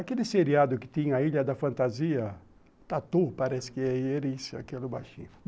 Aquele seriado que tinha a Ilha da Fantasia, Tatu, parece que é ele, esse, aquele baixinho.